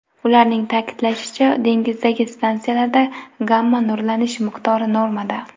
Ularning ta’kidlashicha, dengizdagi stansiyalarda gamma-nurlanish miqdori normada.